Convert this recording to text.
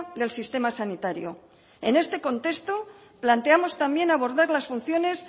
del sistema sanitario en este contexto planteamos también abordar las funciones